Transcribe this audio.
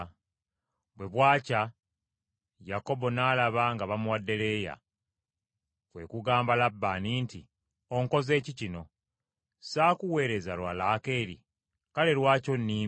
Bwe bwakya, Yakobo n’alaba nga bamuwadde Leeya. Kwe kugamba Labbaani nti, “Onkoze ki kino? Saakuweereza lwa Laakeeri? Kale lwaki onimbye?”